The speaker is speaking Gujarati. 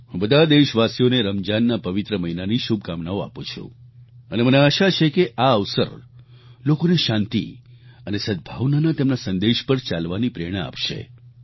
હું બધા દેશવાસીઓને રમજાનના પવિત્ર મહિનાની શુભકામનાઓ આપું છું અને મને આશા છે કે આ અવસર લોકોને શાંતિ અને સદભાવનાના તેમના સંદેશા પર ચાલવાની પ્રેરણા આપશે